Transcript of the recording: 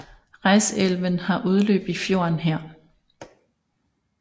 Reisaelven har udløb i i fjorden her